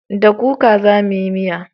Da kuka za mu yi miya